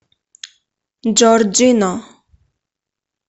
джорджино